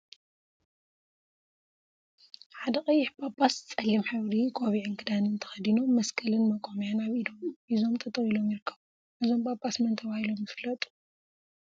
ሓደ ቀይሕ ጳጳስ ፀሊም ሕብሪ ቆቢዕን ክዳንን ተከዲኖም መስቀልን መቆምያን አብ ኢዶም ሒዞም ጠጠወ ኢሎም ይርከቡ፡፡ እዞም ጳጳስ መን ተባሂሎም ይፍለጡ?